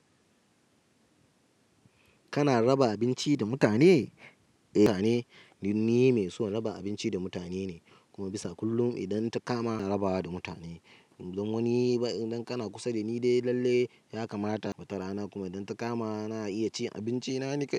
Kana raba abinci da mutane? Eh, ni mai son raba abinci da mutane ne, kuma bisa kullum idan ta kama na rabawa da mutane. Idan wani kana kusa da ni dai lalle, ya kamata ya kata rana kuma idan ta kama na iya cin abinci na ni kai.